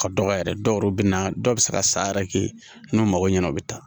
Ka dɔgɔ yɛrɛ dɔw yɛrɛ bɛ na dɔw bɛ se ka san yɛrɛ kɛ n'u mago ɲɛna o bɛ taa